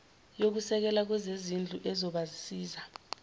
yokusekela kwezezindlu ezobasiza